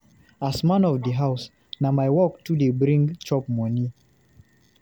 As man of di house, na my work to dey bring chop moni.